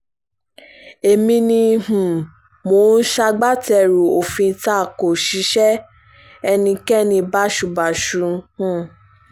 èmi ni um mò ń ṣagbátẹrù òfin ta ko ṣíṣe ẹnikẹ́ni báṣubàṣu um